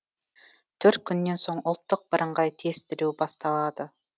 төрт күннен соң ұлттық бірыңғай тестілеу басталады